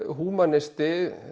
húmanisti